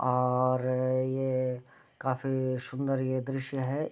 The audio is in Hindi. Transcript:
और ये काफी सुंदर ये दृश्य है |